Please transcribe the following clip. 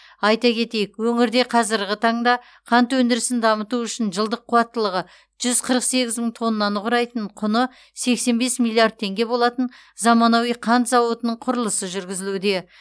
айта кетейік өңірде қазіргі таңда қант өндірісін дамыту үшін жылдық қуаттылығы жүз қырық сегіз мың тоннаны құрайтын құны сексен бес миллиард теңге болатын заманауи қант зауытының құрылысы жүргізілуде